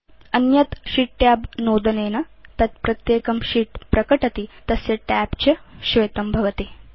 अन्यत् sheet tab नोदनेन तत् प्रत्येकं शीत् प्रकटति तस्य tab च श्वेतं भवति